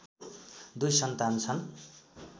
दुई सन्तान छन्